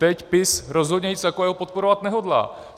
Teď PiS rozhodně nic takového podporovat nehodlá.